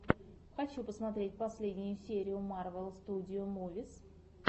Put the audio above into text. хочу посмотреть последнюю серию марвел студио мувис